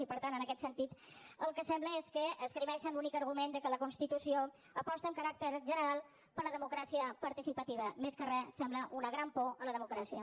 i per tant en aquest sentit el que sembla és que esgrimeixen l’únic argument que la constitució aposta amb caràcter general per la democràcia participativa més que res sembla una gran por a la democràcia